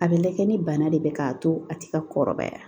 A bɛ lajɛ ni bana de bɛ k'a to a tɛ ka kɔrɔbaya